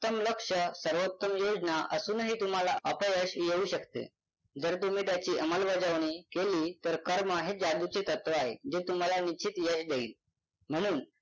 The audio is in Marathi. उत्तम लक्ष्य सर्वोत्तम योजना असूनही तुम्हाला अपयश येऊ शकते जर तुम्ही त्याची अंमलबजावणी केली तर कर्म हे जादूचे तत्व आहे जे तुम्हाला निश्चित यश देईल. म्हणून